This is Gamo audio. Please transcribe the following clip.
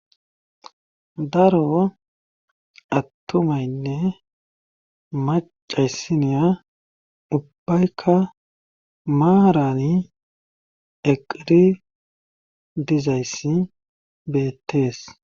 Daro attumaynne macayssiniya ubbaykka maarani eqiri dizayssi beettees.